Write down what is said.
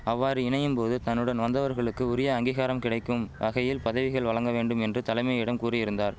அவ்வாறு இணையும் போது தன்னுடன் வந்தவர்களுக்கு உரிய அங்கீகாரம் கிடைக்கும் வகையில் பதவிகள் வழங்க வேண்டும் என்று தலைமையிடம் கூறியிருந்தார்